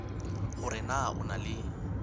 hore na o na le